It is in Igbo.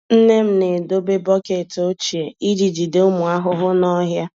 Nne m na-edobe bọket ochie iji jide ụmụ ahụhụ n'ọhịa.